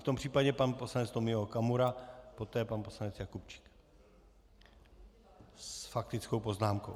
V tom případě pan poslanec Tomio Okamura, poté pan poslanec Jakubčík s faktickou poznámkou.